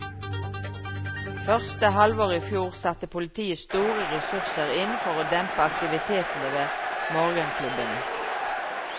Første halvår i fjor satte politiet store ressurser inn på å dempe aktivitetene ved morgenklubbene.